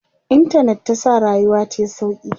intanet ta sa rayuwa tayi sauƙi